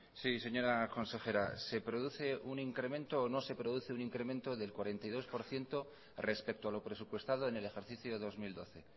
sí señora consejera se produce un incremento o no se produce un incremento del cuarenta y dos por ciento respecto a lo presupuestado en el ejercicio dos mil doce